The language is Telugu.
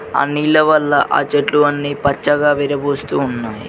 ఆ నీళ్ల వల్ల ఆ చెట్లు అన్ని పచ్చగా విరబూస్తూ ఉన్నాయి.